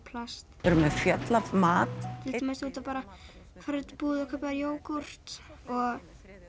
plast við erum með fjall af mat til dæmis bara fara út í búð og kaup jógúrt og